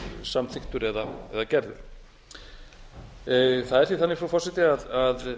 samþykktur eða gerður það er því þannig frú forseti að